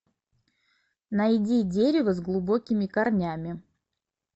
найди дерево с глубокими корнями